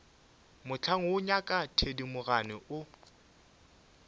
mohlang woo ngaka thedimogane o